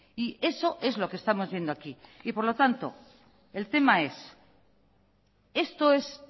eso es lo que estamos viendo aquí por lo tanto el tema es esto es